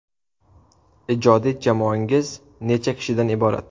Ijodiy jamoangiz necha kishidan iborat?